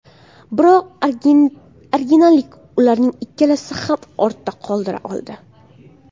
Biroq argentinalik ularning ikkisini ham ortda qoldira oldi.